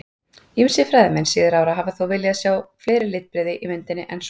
Ýmsir fræðimenn síðari ára hafa þó viljað sjá fleiri litbrigði í myndinni en svo.